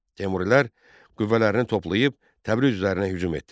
Teymurilər qüvvələrini toplayıb Təbriz üzərinə hücum etdilər.